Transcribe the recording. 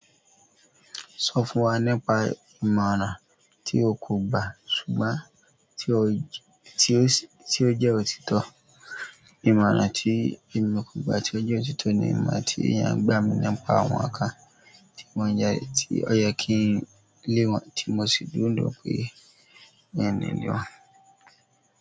Sọ fún wa nípa ìmọ̀ràn tí o kò gba ṣùgbọ́n tí ó jẹ́ òtítọ́. Ìmọ̀ràn tí èmi kò gba tí ó jẹ́ òtítọ́ ni ìmọ̀ tí ìyá àgbà mi nípa àwọn àká tí wọ́n jẹ́, tí ó yẹ kí n lé wọn tí mo sì dúró pé mo máa leè lé wọn.